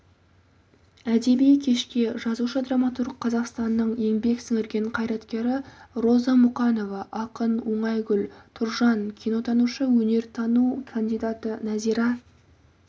әдеби кешке жазушы-драматург қазақстанның еңбек сіңірген қайраткері роза мұқанова ақын оңайгүл тұржан кинотанушы өнертану кандидаты нәзира